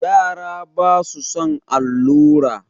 Yara basu son allura.